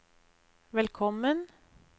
velkommen